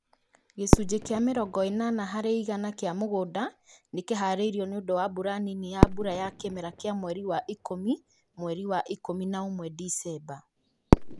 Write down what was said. Gĩcunjĩ kĩa mirongo ĩnana hari igana kĩa mũgũnda nĩkiharĩirio nĩundũ wa mbura nini ya mbura ya kimera kĩa mweri wa ikũmi-mweri wa ikũmi na ũmwe-Disemba